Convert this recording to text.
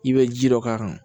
I bɛ ji dɔ k'a kan